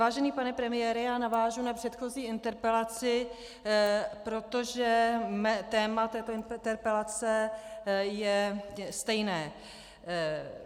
Vážený pane premiére, já navážu na předchozí interpelaci, protože téma této interpelace je stejné.